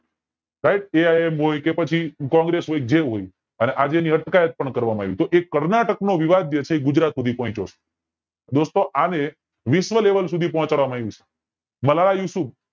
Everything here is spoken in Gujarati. સાયબ AIM હોય કે પછી કોંગ્રેસ હોય જે હોય પછી અને આજે એની અટકાયત પણ કરવામાં આવી તો એ કર્ણાટક નો વિવાદ જે છે એ ગુજરાત સુધી પોંહચયો છે દોસ્તો આને વિશ્વ level સુ ધી પોંહચાડવા આવ્યું છે